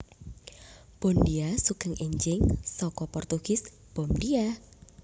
Bondia Sugeng énjing saka Portugis Bom dia